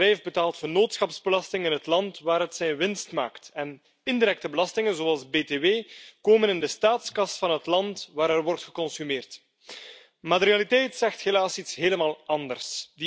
Een bedrijf betaalt vennootschapsbelasting in het land waar het zijn winst maakt en indirecte belastingen zoals btw komen in de staatskas van het land waar er wordt geconsumeerd. Maar de realiteit zegt helaas iets helemaal anders.